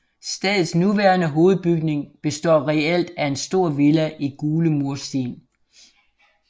Stedets nuværende hovedbygning består reelt af en stor villa i gule mursten